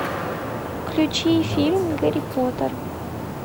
включи фильм гарри поттер